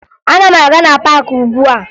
Ana m aga na paakị ugbua